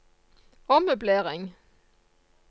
ommøblering